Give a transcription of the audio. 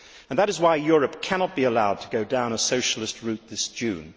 That is why Europe cannot be allowed to go down a Socialist route this June.